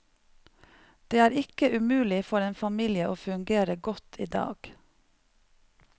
Det er ikke umulig for en familie å fungere godt i dag.